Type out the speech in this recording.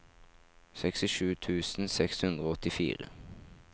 sekstisju tusen seks hundre og åttifire